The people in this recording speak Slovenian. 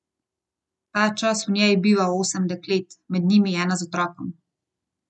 Ta čas v njej biva osem deklet, med njimi ena z otrokom.